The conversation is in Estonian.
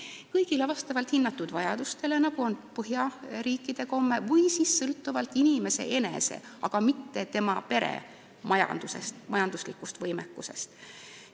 Kas hüvitada kõigile, vastavalt hinnatud vajadustele, nagu on Põhjamaade komme, või teha seda sõltuvalt inimese enese, aga mitte tema pere majanduslikust võimekusest?